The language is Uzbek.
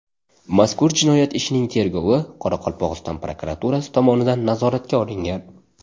Mazkur jinoyat ishining tergovi Qoraqalpog‘iston prokuraturasi tomonidan nazoratga olingan.